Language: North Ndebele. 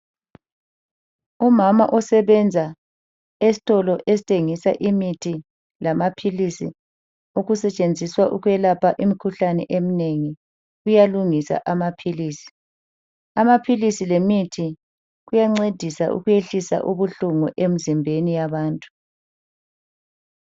Umama osebenza esitolo esithengisa imithi lamaphilisi okusetshenziswa ukwelapha imikhuhlane eminengi uyalungisa amaphilisi. Amaphilisi lemithi kuyancedisa ukuyehlisa ubuhlungu emzimbeni yabantu.